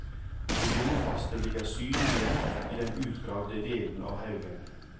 De jordfaste ligger synlige i den utgravde delen av haugen.